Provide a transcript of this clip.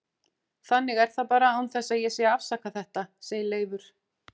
Þannig er það bara án þess að ég sé að afsaka þetta, sagði Leifur.